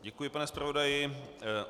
Děkuji, pane zpravodaji.